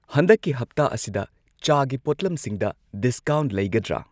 ꯍꯟꯗꯛꯀꯤ ꯍꯞꯇꯥ ꯑꯁꯤꯗ ꯆꯥꯒꯤ ꯄꯣꯠꯂꯝꯁꯤꯡꯗ ꯗꯤꯁꯀꯥꯎꯟꯠ ꯂꯩꯒꯗ꯭ꯔ?